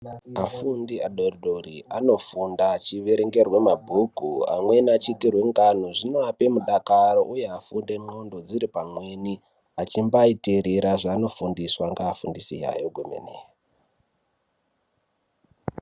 Afundi adodori anofunda achiverengerwa mabhuku amweni achiitirwa ngano zvinoape mudakaro uye afunde ndxondo dziripamweni achimbaiterera zvavanofundiswa ngaavundisi vavo.